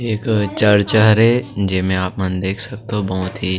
एक चर्चा हरे जे मे अपन देख सकथो बहोत ही--